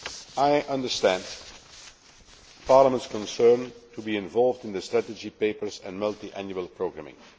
I understand Parliament's concern to be involved in the strategy papers and multiannual programming.